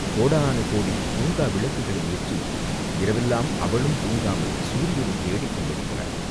கோடானு கோடி தூங்கா விளக்குகளை ஏற்றி இரவெல்லாம் அவளும் தூங்காமல் சூரியனைத் தேடிக் கொண்டிருக்கிறாள்!